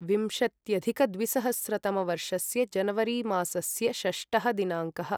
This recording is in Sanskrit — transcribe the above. विंशत्यधिकद्विसहस्रतमवर्षस्य जनवरिमासस्य षष्टः दिनाङ्कः